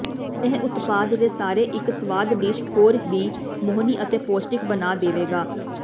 ਇਹ ਉਤਪਾਦ ਦੇ ਸਾਰੇ ਇੱਕ ਸਵਾਦ ਡਿਸ਼ ਹੋਰ ਵੀ ਮੋਹਣੀ ਅਤੇ ਪੌਸ਼ਟਿਕ ਬਣਾ ਦੇਵੇਗਾ